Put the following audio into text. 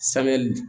Samiyali